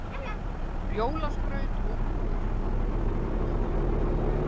Jólaskraut og skrúfur